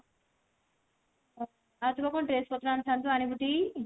ଆଉ ତୁ ପା କଣ dress ପତ୍ର ଆଣିଥାନ୍ତୁ ଆଣିବୁ ଟି?